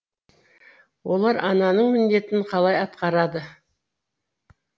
олар ананың міндетін қалай атқарады